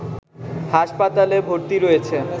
হাসপাতালে ভর্তি রয়েছে